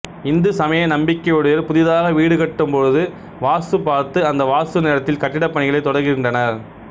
இந்து சமய நம்பிக்கையுடையோர் புதிதாக வீடு கட்டும் பொழுது வாஸ்து பார்த்து அந்த வாஸ்து நேரத்தில் கட்டிடப் பணிகளைத் தொடங்குகின்றனர்